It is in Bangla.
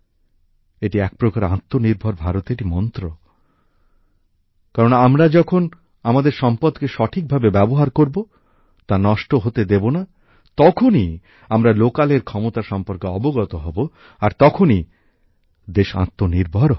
এটি একপ্রকার আত্মনির্ভর ভারতেরই মন্ত্র কারণ আমরা যখন আমাদের সম্পদকে সঠিকভাবে ব্যবহার করবো তা নষ্ট হতে দেবো না তখনই আমরা লোকালএর ক্ষমতা সম্পর্কে অবগত হবো আর তখনই দেশ আত্মনির্ভর হবে